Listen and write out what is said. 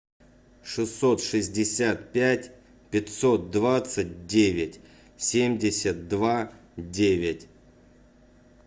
шестьсот шестьдесят пять пятьсот двадцать девять семьдесят два девять